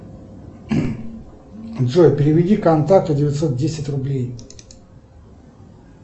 джой переведи контакту девятьсот десять рублей